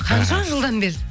қанша жылдан бері